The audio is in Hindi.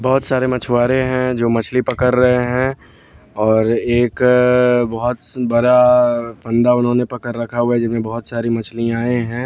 बहुत सारे मछुआरे हैं जो मछली पकड़ रहे हैं और एक बहुत बड़ा फंदा उन्होंने पकड़ रखा हुआ है जिनमें बहुत सारी मछलियां हैं।